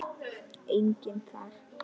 Enginn þar?